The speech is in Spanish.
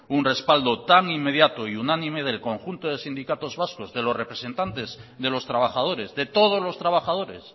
un respaldo tan inmediato y unánime del conjunto de sindicatos vascos de los representantes de los trabajadores de todos los trabajadores